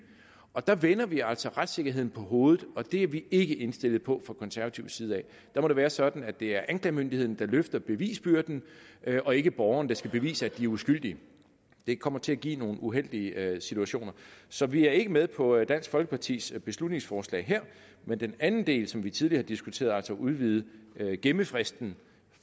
og der vender vi altså retssikkerheden på hovedet og det er vi ikke indstillet på fra konservativ side af der må det være sådan at det er anklagemyndigheden der løfter bevisbyrden og ikke borgerne der skal bevise at de er uskyldige det kommer til at give nogle uheldige situationer så vi er ikke med på dansk folkepartis beslutningsforslag her men den anden del som vi tidligere har diskuteret altså at udvide gemmefristen